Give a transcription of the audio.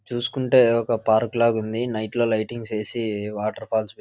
చూసుకుంటే ఒక పార్కు లాగా ఉంది. నైట్ లో లైటింగ్ వేసి వాటర్ ఫాల్స్ పెట్టి--